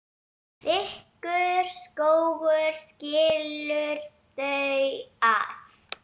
Þykkur skógur skilur þau að.